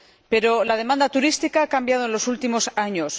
Pero la demanda turística ha cambiado en los últimos años.